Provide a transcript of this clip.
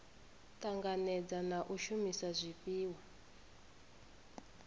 tanganedza na u shumisa zwifhiwa